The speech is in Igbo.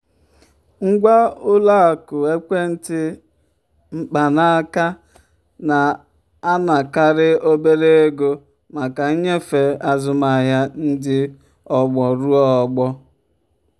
ngwa ụlọ akụ ekwentị mkpanaaka na-anakarị obere ego maka nnyefe azụmahịa ndị ọgbọ ruo ọgbọ.